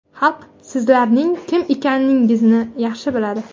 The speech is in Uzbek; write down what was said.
Xalq sizlarning kim ekaningizni yaxshi biladi.